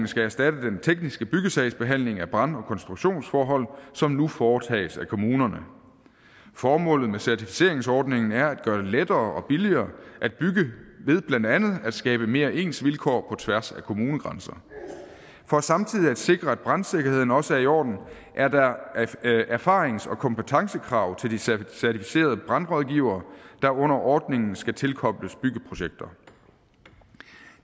skal erstatte den tekniske byggesagsbehandling af brand og konstruktionsforhold som nu foretages af kommunerne formålet med certificeringsordningen er at gøre det lettere og billigere at bygge ved blandt andet at skabe mere ens vilkår på tværs af kommunegrænser for samtidig at sikre at brandsikkerheden også er i orden er der erfarings og kompetencekrav til de certificerede brandrådgivere der under ordningen skal tilkobles byggeprojekter